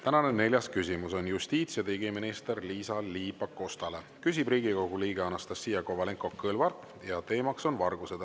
Tänane neljas küsimus on justiits‑ ja digiminister Liisa-Ly Pakostale, küsib Riigikogu liige Anastassia Kovalenko-Kõlvart ja teema on vargused.